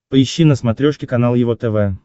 поищи на смотрешке канал его тв